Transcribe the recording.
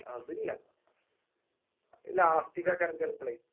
അതില്ല അയ് Last ക്ക് ആക്കാരം ചെലപളേയ്